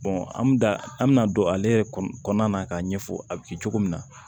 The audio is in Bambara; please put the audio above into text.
an bɛ da an bɛna don ale yɛrɛ kɔnɔ k'a ɲɛfɔ a bɛ kɛ cogo min na